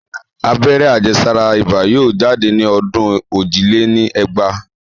Abẹ́rẹ́ àjẹ́sára ibà yóò jáde ní ọdún ojì lé ní ẹgbàá